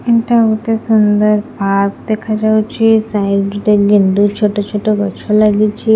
ଏଇଟା ଗୋଟେ ସୁନ୍ଦର୍ ପାର୍କ ଦେଖାଯାଉଛି ସାଇଡ୍ ରେ ତ ଗେଣ୍ଡୁ ଛୋଟ ଛୋଟ ଗଛ ଲାଗିଛି।